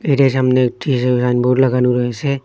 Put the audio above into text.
এটার সামনের একটি সাইন বোর্ড লাগানো রয়েসে।